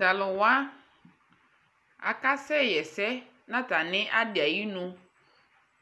talʋ wa aka sɛ yɛsɛ nʋ atani adi ayinʋ